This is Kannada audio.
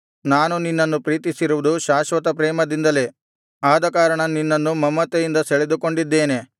ನಾನು ನಿನ್ನನ್ನು ಪ್ರೀತಿಸಿರುವುದು ಶಾಶ್ವತ ಪ್ರೇಮದಿಂದಲೇ ಆದಕಾರಣ ನಿನ್ನನ್ನು ಮಮತೆಯಿಂದ ಸೆಳೆದುಕೊಂಡಿದ್ದೇನೆ